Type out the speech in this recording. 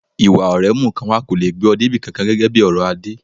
Ìwà ọ̀rẹ́ mú nǹkan wá kò lè gbé ọ dé ibi kankan, gẹ́gẹ́ bí ọ̀rọ̀ Adé.